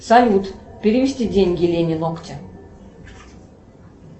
салют перевести деньги лене ногти